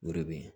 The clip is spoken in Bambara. O de bɛ yen